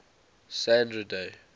sandra day